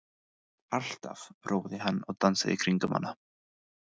Alltaf! hrópaði hann og dansaði í kringum hana.